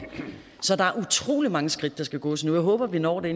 så der er utrolig mange skridt der skal gås endnu jeg håber at vi når det